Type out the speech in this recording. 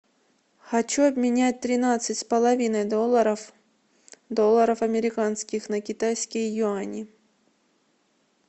хочу обменять тринадцать с половиной долларов долларов американских на китайские юани